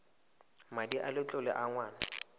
madi a letlole a ngwana